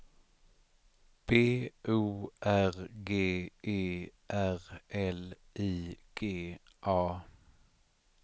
B O R G E R L I G A